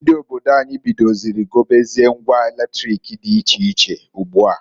Ndi obodo anyi bidoziri gobezie ngwa latrik di iche iche ugboa.